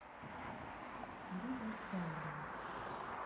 люба сяйлева